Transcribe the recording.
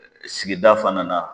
Sigida fana na.